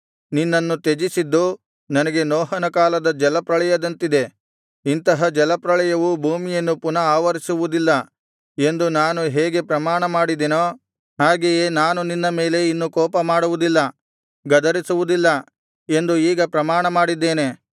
ನಿನ್ನನ್ನು ತ್ಯಜಿಸಿದ್ದು ನನಗೆ ನೋಹನ ಕಾಲದ ಜಲಪ್ರಳಯದಂತಿದೆ ಇಂತಹ ಜಲಪ್ರಳಯವು ಭೂಮಿಯನ್ನು ಪುನಃ ಆವರಿಸುವುದಿಲ್ಲ ಎಂದು ನಾನು ಹೇಗೆ ಪ್ರಮಾಣಮಾಡಿದೆನೋ ಹಾಗೆಯೇ ನಾನು ನಿನ್ನ ಮೇಲೆ ಇನ್ನು ಕೋಪಮಾಡುವುದಿಲ್ಲ ಗದರಿಸುವುದಿಲ್ಲ ಎಂದು ಈಗ ಪ್ರಮಾಣಮಾಡಿದ್ದೇನೆ